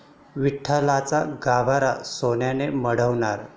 विठ्ठलाचा गाभारा सोन्याने मढवणार